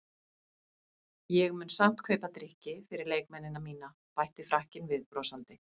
Ég mun samt kaupa drykki fyrir leikmennina mína bætti Frakkinn við brosandi.